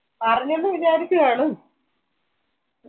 പറഞ്ഞെന്നു വിചാരിച്ചു കാണും